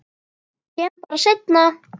Kem bara seinna.